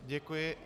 Děkuji.